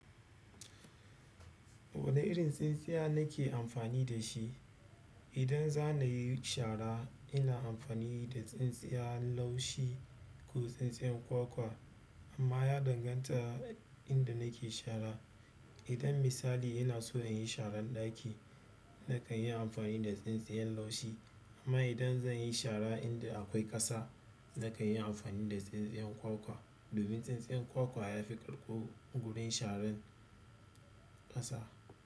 Wane irin tsintsiya na ke amfani da shi? Idan za nayi shara ina amfani da tsin-tsiya laushi ko tsin-tsiya kwakwa ama ya danganta inda nake shara idan misali ina so in yi sharan ɗaki na kan yi amfani da tsintsiyan laushi kuma idan zan yi shara inda akwai ƙasa nakan yi amfani da tsintsiya kwakwa domin tsintsiyar kwakwa yafi karɓu gurin sharan ƙasa.